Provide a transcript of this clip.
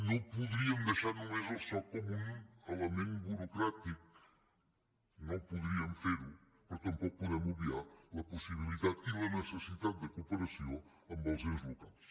no podríem deixar només el soc com un element burocràtic no podríem fer ho però tampoc podem obviar la possibilitat i la necessitat de cooperació amb els ens locals